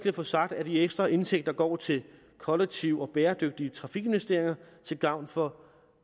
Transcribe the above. at få sagt at de ekstra indtægter går til kollektive og bæredygtige trafikinvesteringer til gavn for